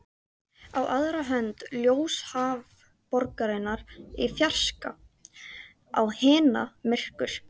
Á aðra hönd ljósahaf borgarinnar í fjarska, á hina myrkur.